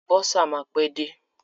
Bọ́sà máa pẹ́ dé.